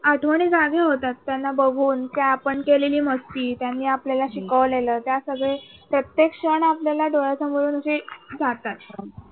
आठवणी जाग्या होतात त्यांना बघून त्या आपण केलेली मस्ती. त्यांनी आपल्याला शिकवलेलं. त्या सगळे प्रत्येक क्षण आपल्याला डोळ्यासमोरून जे जातात.